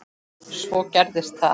Svo gerðist það.